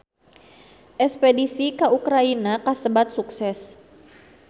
Espedisi ka Ukraina kasebat sukses